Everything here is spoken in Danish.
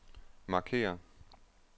markér